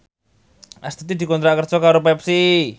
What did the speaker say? Astuti dikontrak kerja karo Pepsi